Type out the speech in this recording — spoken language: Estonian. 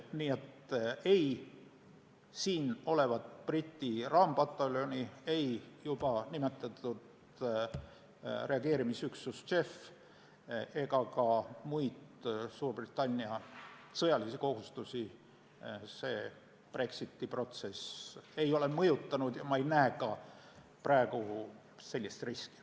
Nii et ei siin olevat Briti raampataljoni, juba nimetatud reageerimisüksust JEF ega ka muid Suurbritannia sõjalisi kohustusi pole see Brexiti protsess mõjutanud ja ma ei näe ka praegu sellist riski.